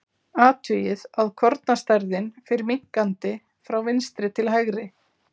Athugið að kornastærðin fer minnkandi frá vinstri til hægri.